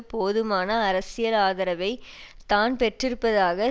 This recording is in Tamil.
போதுமான அரசியல் ஆதரவை தான் பெற்றிருப்பதாக